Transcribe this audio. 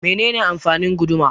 Mene ne amfanin guduma?